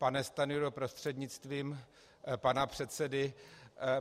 Pane Stanjuro, prostřednictvím pana předsedy.